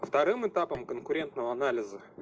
вторым этапом конкурентного анализа